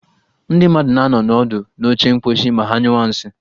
Ndị mmadụ na-anọ ọdụ n'oche mkposhi ma ha nyụwa nsị